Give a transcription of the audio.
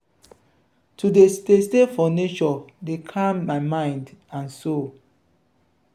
to dey stay stay for nature dey calm my mind and soul.